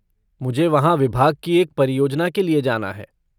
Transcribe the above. मुझे वहाँ विभाग की एक परियोजना के लिए जाना है।